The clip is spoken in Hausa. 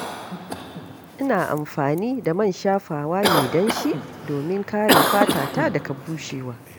Ina amfani da man shafawa mai danshi domin kare fatata daga bushewa.